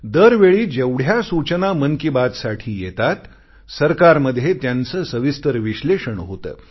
दरवेळी जेवढ्या सूचना मन की बात साठी येतात सरकारमध्ये त्यांचे सविस्तर विश्लेषण होते